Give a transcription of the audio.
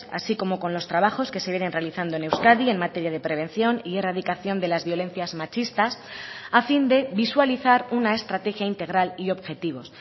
así como con los trabajos que se vienen realizando en euskadi en materia de prevención y erradicación de las violencias machistas a fin de visualizar una estrategia integral y objetivos